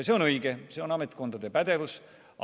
See on õige, see on ametkondade pädevus.